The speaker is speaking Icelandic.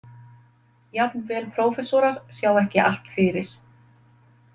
Jafnvel prófessorar sjá ekki allt fyrir.